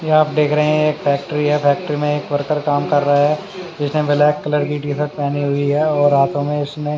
यहा आप देख रहे है एक फेक्ट्री है फेक्ट्री में वर्कर काम कर रहे है जिसने ब्लैक कलर की टीसर्ट पहनी हुई है और हाथो में इसने--